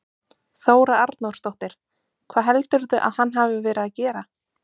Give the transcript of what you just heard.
Þóra Arnórsdóttir: Hvað heldurðu að hann hafi verið að gera?